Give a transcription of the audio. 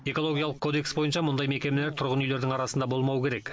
экологиялық кодекс бойынша мұндай мекемелер тұрғын үйлердің арасында болмауы керек